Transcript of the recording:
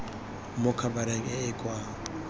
mo khabareng e e kwa